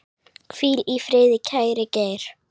Hvíl í friði, kæri Geir.